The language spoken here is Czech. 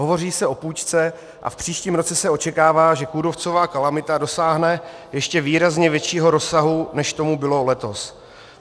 Hovoří se o půjčce a v příštím roce se očekává, že kůrovcová kalamita dosáhne ještě výrazně většího rozsahu, než tomu bylo letos.